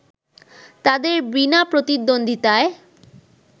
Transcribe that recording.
তাদের বিনা প্রতিদ্বন্দ্বিতায়